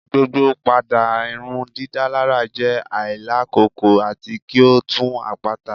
Gbogbo pada irundidalara jẹ ailakoko ati ki o tun apata